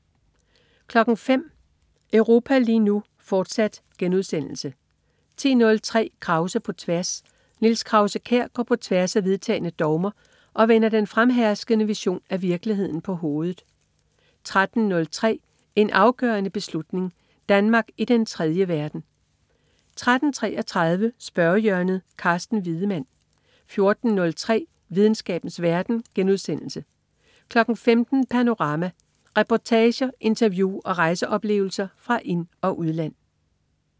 05.00 Europa lige nu, fortsat* 10.03 Krause på tværs. Niels Krause-Kjær går på tværs af vedtagne dogmer og vender den fremherskende version af virkeligheden på hovedet 13.03 En afgørende beslutning. Danmark i den tredje verden 13.33 Spørgehjørnet. Carsten Wiedemann 14.03 Videnskabens verden* 15.00 Panorama. Reportager, interview og rejseoplevelser fra ind- og udland